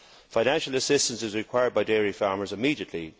Financial assistance is required by dairy farmers immediately.